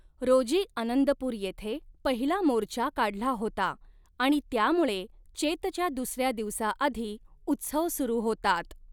रोजी आनंदपूर येथे पहिला मोर्चा काढला होता आणि त्यामुळे चेतच्या दुसऱ्या दिवसाआधी उत्सव सुरू होतात.